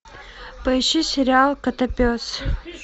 поищи сериал котопес